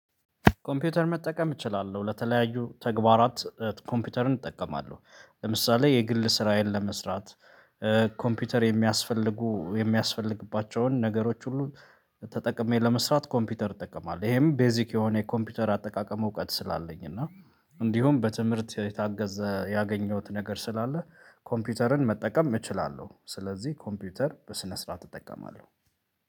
ኮምፒውተር መጠቀም እችላለሁ ለተለያዩ ተግባራት ኮምፒውተርን እጠቀማለሁ። ለምሳሌ የግል ስራዬን ለመስራት ኮምፒውተር የሚያስፈልጉ የሚያስፈልግባቸውን ነገሮች ሁሉ። ተጠቅሜ ለመስራት ኮምፒውተር እጠቀማል ይሄም ቤዚክ የሆነ የኮምፒውተር አጠቃቀም እውቀት ስላለኝ እና እንዲሁም በትምህርት የታገዘ ያገኘሁት ነገር ስላለ ኮምፒውተርን መጠቀም እችላለሁ። ስለዚህ ኮምፒውተር በስነ ስርዓት እጠቀማለሁ።